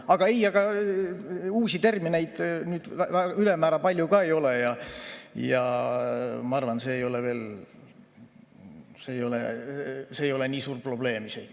Aga ei, uusi termineid ülemäära palju ei ole ja ma arvan, et see ei ole isegi nii suur probleem.